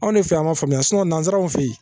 Anw de fe yan ma faamuya nanzaraw fe yen